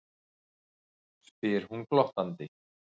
spyr hún glottandi.